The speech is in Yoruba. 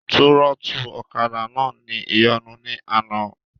Túrọ́tù ọ̀kadà náà ní ìyọnu ní àná